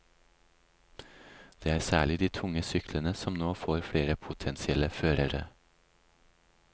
Det er særlig de tunge syklene som nå får flere potensielle førere.